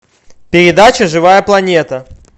передача живая планета